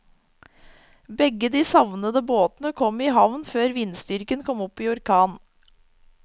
Begge de savnede båtene kom i havn før vindstyrken kom opp i orkan.